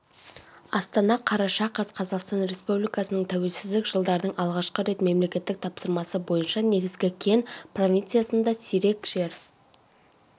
астана қараша қаз қазақстан республикасының тәуелсіздік жылдардың алғашқы рет мемлекеттік тапсырма бойынша негізгі кен провинциясындасирек жер